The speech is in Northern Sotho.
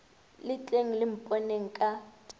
le tleng le mponeng ka